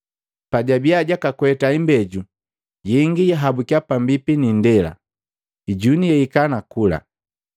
Pajabiya jwakakweta imbeju, yengi yahabukiya pambipi ni indela, ijuni yahika nakula.